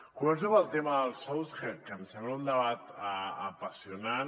començo pel tema dels sous que em sembla un debat apassionant